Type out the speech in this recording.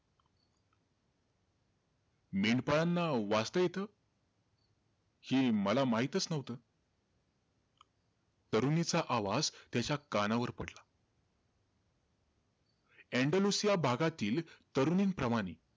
मेंढपाळांना वाचता येतं? हे मला माहीतचं नव्हतं. तरुणीचा आवाज त्याच्या कानावर पडला. एण्डलुसिया भागातील तरुणींप्रमाणे,